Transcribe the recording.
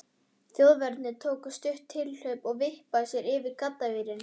Þjóðverjinn tók stutt tilhlaup og vippaði sér yfir gaddavírinn.